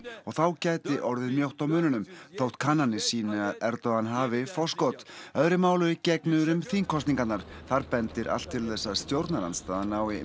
og þá gæti orðið mjótt á munum þótt kannanir sýni að Erdogan hafi forskot öðru máli gegnir um þingkosningarnar þar bendir allt til þess að stjórnarandstaðan nái